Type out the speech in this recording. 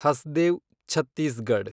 Hasdeo Chhattisgarh